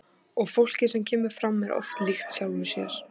Og fólkið sem kemur fram er oft líkt sjálfu sér.